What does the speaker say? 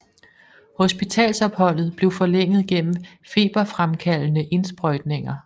Hospitalsopholdet blev forlænget gennem feberfremkaldende indsprøjtninger